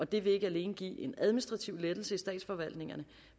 det vil ikke alene give en administrativ lettelse i statsforvaltningerne